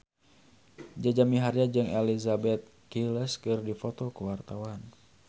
Jaja Mihardja jeung Elizabeth Gillies keur dipoto ku wartawan